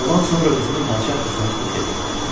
Oğlan sonra üzünü padşah qızına tutub dedi: